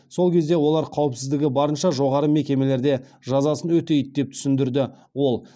сол кезде олар қауіпсіздігі барынша жоғары мекемелерде жазасын өтейді деп түсіндірді ол